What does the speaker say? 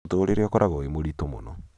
mutũũrĩre ũkoragwo wĩ mũritũ mũno